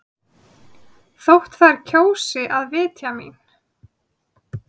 Þótt þær kjósi að vitja mín.